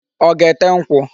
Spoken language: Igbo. Ọ ga-ete nkwụ?